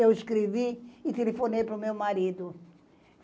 Eu escrevi e telefonei para o meu marido.